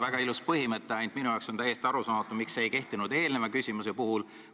Väga ilus põhimõte, ainult minu jaoks on täiesti arusaamatu, miks see ei kehtinud eelmise küsimuse puhul.